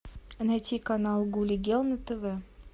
найти канал гули герл на тв